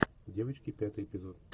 девочки пятый эпизод